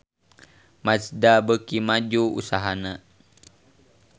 Mazda beuki maju usahana